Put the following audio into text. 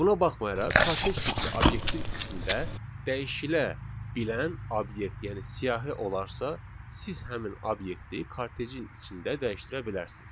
Buna baxmayaraq, kortej tipli obyektin içində dəyişilə bilən obyekt, yəni siyahı olarsa, siz həmin obyekti kortejin içində dəyişdirə bilərsiz.